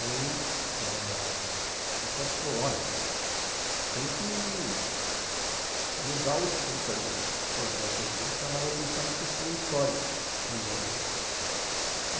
Aí, o pessoal ficou, olha, tem que mudar o escopo aí do projeto, tem que dar mais atenção para a questão histórica também.